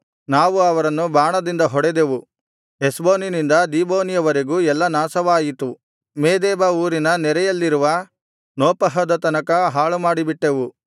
ನಾವು ಅವರನ್ನು ಬಾಣದಿಂದ ಹೊಡೆದೆವು ಹೆಷ್ಬೋನಿನಿಂದ ದೀಬೋನಿವರೆಗೂ ಎಲ್ಲಾ ನಾಶವಾಯಿತು ಮೇದೆಬಾ ಊರಿನ ನೆರೆಯಲ್ಲಿರುವ ನೋಫಹದ ತನಕ ಹಾಳುಮಾಡಿ ಬಿಟ್ಟೆವು